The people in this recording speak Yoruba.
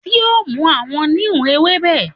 ti o mu awọn Neem ewebe